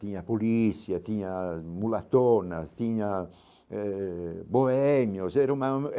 Tinha polícia, tinha mulatonas, tinha eh bohémios era uma.